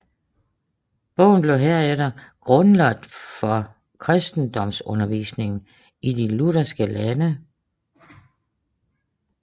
Bogen blev herefter grundlaget for kristendomsundervisningen i de lutherske lande